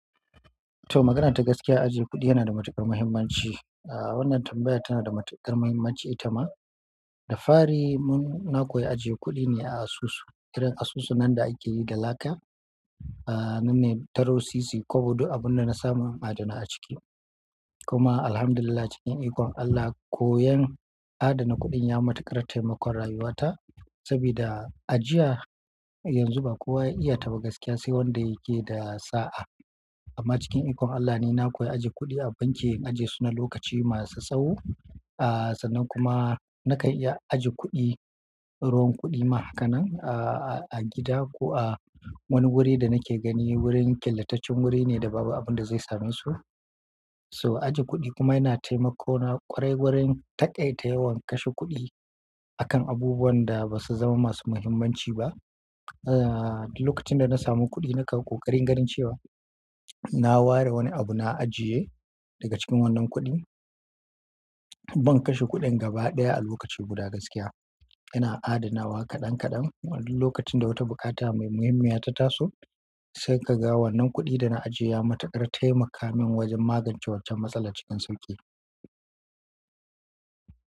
To, magana ta gaskiya, ajiye kuɗi yana da matuƙar muhimmanci. Aaa, wannan tambaya tana da matuƙar muhimmanci ita ma. Da fari mun, na koya ajiye kuɗi ne a asusu, irin asusu nan da ake yi da laka, aa, nan ne taro sisi kobo buk, abun da na samu adana a ciki. Kuma Alhamdulillah, cikin ikon Allah, koyan adana kuɗin ya matuƙar taimakon rayuwata. Saboda a jiya, yanzu ba kowa ya iya ta ba gaskiya, sai wanda yake da sa'a. Amma cikin ikon Allah ne na koya ajiye kuɗi a banki, ajiye su na lokaci masu tsawo. Aa, sannan kuma na ka iya ajiye kuɗi ruwan kuɗi mahakanan a gida ko a wani wuri da nake gani, wurin ƙillataccen wuri ne da babu abun da zai same su. So, ajiye kuɗi kuma yana taimako na kwarai wurin taƙaitayewan kashe kuɗi a kan abubuwan da ba su zama masu muhimmanci ba. Aa, lokacin da na samu kuɗi, nakan ƙoƙarin ganin cewa naware wani abu na aniya daga cikin wannan kuɗin. Ban kashe kuɗin gaba ɗaya a lokaci guda gaskiya. Yana adana wa kaɗan kaɗan. Waɗannan lokacin da wata bukata mai muhimmiya ta taso, sai ka ga wannan kuɗin da na ajiye ya matuƙar taimaka min wajen magance waccan matsala cikin sauƙi.